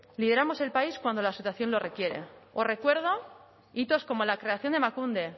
lideramos el país cuando la situación lo requiere os recuerdo hitos como la creación de emakunde